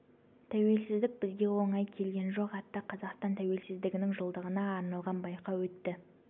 тәуелсіздік бізге оңай келген жоқ атты қазақстан тәуелсіздігінің жылдығына арналған байқау өтті